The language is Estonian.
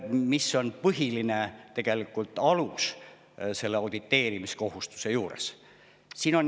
See on auditeerimiskohustuse põhiline alus.